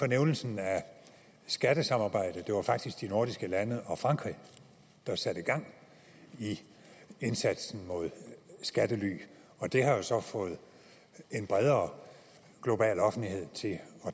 nævnelsen af skattesamarbejdet det var faktisk de nordiske lande og frankrig der satte gang i indsatsen mod skattely og det har jo så fået en bredere global offentlighed til at